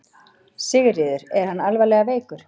Sigríður: Er hann alvarlega veikur?